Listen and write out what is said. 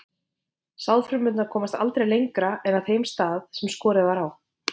Sáðfrumurnar komast aldrei lengra en að þeim stað sem skorið var á.